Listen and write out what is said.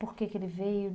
Por que que ele veio?